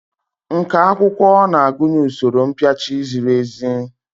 Nkà akwụkwọ na-agụnye usoro mpịachi ziri ezi.